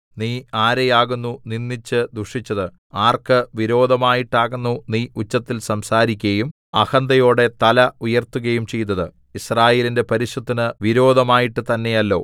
നീ ആരെയാകുന്നു നിന്ദിച്ച് ദുഷിച്ചത് ആർക്ക് വിരോധമായിട്ടാകുന്നു നീ ഉച്ചത്തിൽ സംസാരിക്കയും അഹന്തയോടെ തല ഉയർത്തുകയും ചെയ്തത് യിസ്രായേലിന്റെ പരിശുദ്ധന് വിരോധമായിട്ട് തന്നെയല്ലോ